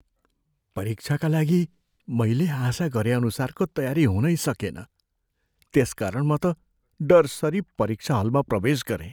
परीक्षाका लागि मैले आशा गरेअनुसारको तयारी हुनै सकेन, त्यसकारण म त डरसरि परीक्षा हलमा प्रवेश गरेँ।